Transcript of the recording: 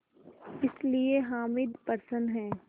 इसलिए हामिद प्रसन्न है